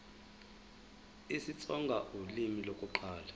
isitsonga ulimi lokuqala